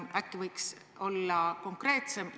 Äkki võiks olla konkreetsem?